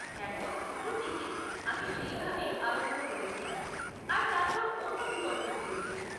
একদম শুরুর দিকে আমি সেইভাবেই আরম্ভ করেছিলাম আর তারপর অন্য বিকল্প পেয়েছি।